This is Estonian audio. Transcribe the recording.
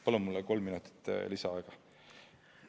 Palun kolm minutit lisaaega!